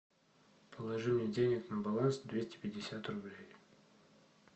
положи мне денег на баланс двести пятьдесят рублей